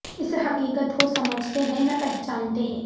اس حقیقت کو سمجھتے ہیں نہ پہچانتے ہیں